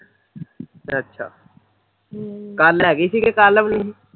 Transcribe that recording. ਅੱਛਾ ਹਮ ਕੱਲ ਹੈਗੀ ਕਿ ਕੱਲ ਵੀ ਨੀ